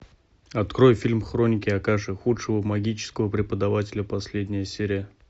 открой фильм хроники акаши худшего магического преподавателя последняя серия